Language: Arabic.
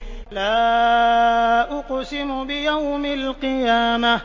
لَا أُقْسِمُ بِيَوْمِ الْقِيَامَةِ